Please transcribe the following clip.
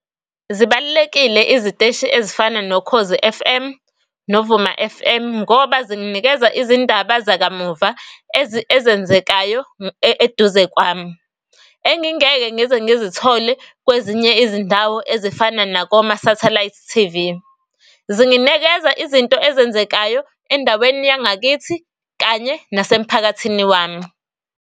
Zibalulekile iziteshi ezifana noKhozi F_M noVuma F_M ngoba zikunikeza izindaba zakamuva ezenzekayo eduze kwami. Engingeke ngize ngizithole kwezinye izindawo ezifana nakoma-satellite T_V. izinto ezenzekayo endaweni yangakithi kanye nasemphakathini wami.